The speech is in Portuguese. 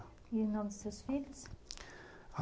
E o nome dos seus filhos?